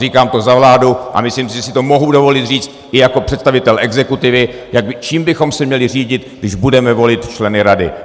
Říkám to za vládu a myslím si, že si to mohu dovolit říct i jako představitel exekutivy, čím bychom se měli řídit, když budeme volit členy rady.